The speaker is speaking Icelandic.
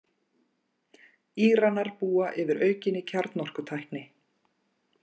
Íranar búa yfir aukinni kjarnorkutækni